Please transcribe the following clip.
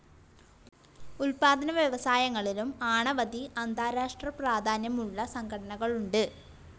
ഉത്പാതനവ്യവസായങ്ങളിലും ആണാവതി അന്താരഷ്ട്ര പ്രാധാന്യമുള്ള സംഘടനകളുണ്ട്.